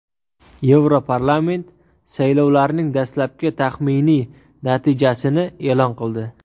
Yevroparlament saylovlarning dastlabki taxminiy natijasini e’lon qildi.